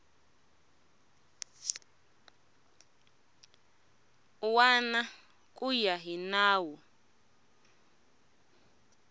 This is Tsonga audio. wana ku ya hi nawu